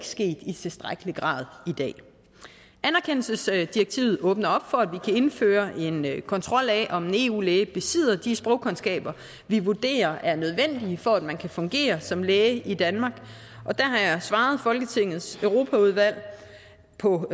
sket i tilstrækkelig grad i dag anerkendelsesdirektivet åbner op for at vi kan indføre en kontrol af om en eu læge besidder de sprogkundskaber vi vurderer er nødvendige for at man kan fungere som læge i danmark og der har jeg svaret folketingets europaudvalg på